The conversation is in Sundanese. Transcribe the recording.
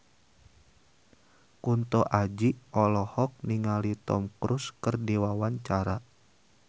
Kunto Aji olohok ningali Tom Cruise keur diwawancara